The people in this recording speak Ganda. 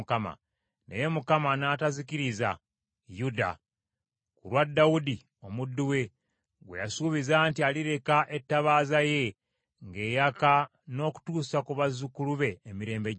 Naye Mukama n’atazikiriza Yuda, ku lwa Dawudi omuddu we, gwe yasuubiza nti alireka ettabaaza ye ng’eyaka n’okutuusa ku bazzukulu be emirembe gyonna.